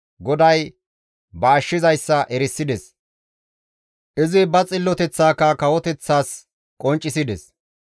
GODAY ba ashshizayssa erisides; izi ba xilloteththaka kawoteththas qonccisides.